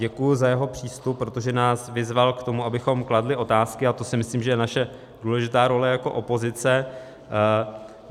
Děkuju za jeho přístup, protože nás vyzval k tomu, abychom kladli otázky, a to si myslím, že je naše důležitá role jako opozice.